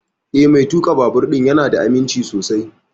Eh, Mai tuƙa babur ɗin ya na da aminci sosai